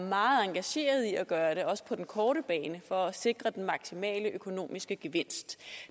er meget engageret i at gøre det også på den korte bane for at sikre den maksimale økonomiske gevinst